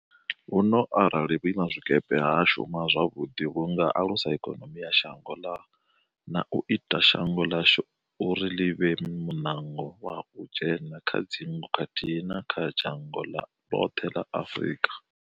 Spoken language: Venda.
Huno, arali vhuimazwikepe ha shuma zwavhuḓi vhu nga alusa ikonomi ya shango na u ita shango ḽashu uri ḽi vhe munango wa u dzhena kha dzingu khathihi na kha dzhango ḽoṱhe ḽa Afrika.